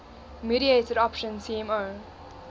mediated option tmo